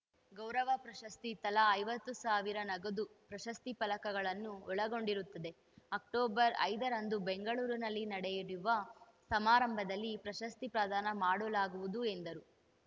ಗೌರವ ಪ್ರಶಸ್ತಿ ತಲಾ ಐವತ್ತು ಸಾವಿರ ನಗದು ಪ್ರಶಸ್ತಿ ಫಲಕಗಳನ್ನು ಒಳಗೊಂಡಿರುತ್ತದೆ ಅಕ್ಟೋಬರ್‌ ಐದರಂದು ಬೆಂಗಳೂರಿನಲ್ಲಿ ನಡೆಯುವ ಸಮಾರಂಭದಲ್ಲಿ ಪ್ರಶಸ್ತಿ ಪ್ರದಾನ ಮಾಡಲಾಗುವುದು ಎಂದರು